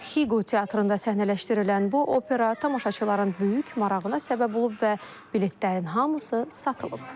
Xiqo teatrında səhnələşdirilən bu opera tamaşaçıların böyük marağına səbəb olub və biletlərin hamısı satılıb.